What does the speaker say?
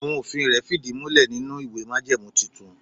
Àwọn òfin rẹ̀ fìdí múlè nínú ìwé májẹ̀mú tuntun.